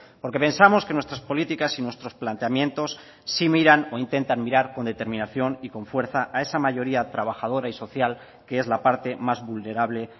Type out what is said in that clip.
porque pensamos que nuestras políticas y nuestros planteamientos sí miran o intentan mirar con determinación y con fuerza a esa mayoría trabajadora y social que es la parte más vulnerable